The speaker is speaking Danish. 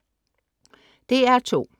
DR2: